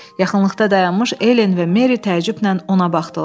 Yaxınlıqda dayanmış Elen və Meri təəccüblə ona baxdılar.